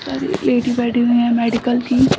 पर एक लेडी बैठी हुई है मेडिकल की।